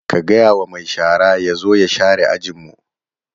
Ka gaya wa mai shara ya zo ya share ajin mu!